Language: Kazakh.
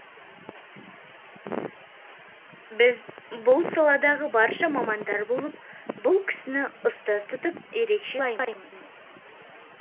біз бұл саладағы барша мамандар болып бұл кісіні ұстаз тұтып ерекше сыйлаймыз